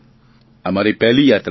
આ મારી પહેલી યાત્રા હતી